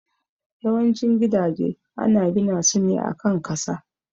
Yawan cin gidaje ana gina su ne a kan kasa